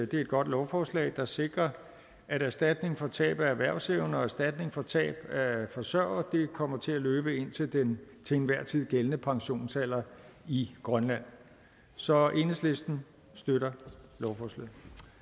det er et godt lovforslag der sikrer at erstatning for tab af erhvervsevne og erstatning for tab af forsørger kommer til at løbe til den til enhver tid gældende pensionsalder i grønland så enhedslisten støtter lovforslaget